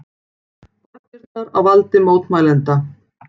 Borgirnar á valdi mótmælenda